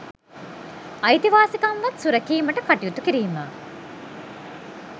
අයිතිවාසිකම්වත් සුරැකීමට කටයුතු කිරීම